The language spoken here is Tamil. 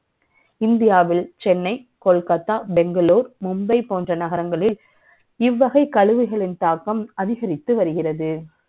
இந்தியாவில் Chennai, Kolkata, Bengaluru, Mumbai ப ோன்ற நகரங்களில் இவ்வகை கழிவுகளின் தாக்கம் அதிகரித்து வருகிறது